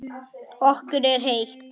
Okkur er heitt.